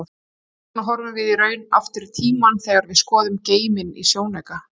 Hvers vegna horfum við í raun aftur í tímann þegar við skoðum geiminn í sjónauka?